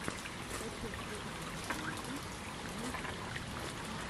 скачай кухню наизнанку на ютюбе